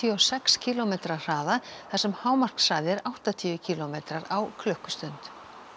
og sex kílómetra hraða þar sem hámarkshraði er áttatíu kílómetrar á klukkustund